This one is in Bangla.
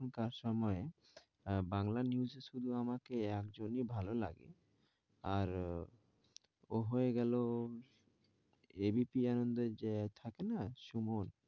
এখন কার সময় আহ বাংলা news এ শুধু আমাকে একজনেই ভালোলাগে আর ও হয়েগেলো ABP আনন্দে যে থাকেনা সুমন।